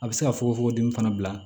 A bɛ se ka fogofogo di fana